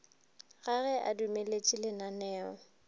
ga ge a dumeletše lananeo